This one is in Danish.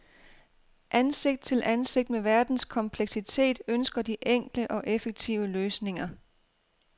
Ansigt til ansigt med verdens kompleksitet ønsker de enkle og effektive løsninger.